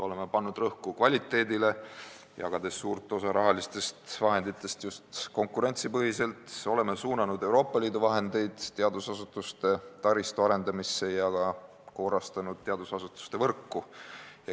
Oleme pannud rõhku kvaliteedile, jagades suure osa rahalistest vahenditest just konkurentsipõhiselt, oleme suunanud Euroopa Liidu vahendeid teadusasutuste taristu arendamisse ja korrastanud teadusasutuste võrku.